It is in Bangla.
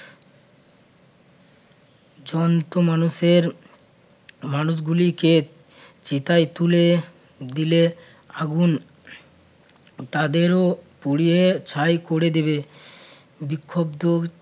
অসংখ্য মানুষের মানুষগুলিকে চিতায় তুলে দিলে আগুন তাদেরও পুড়িয়ে ছাই করে দেবে বিক্ষুব্ধ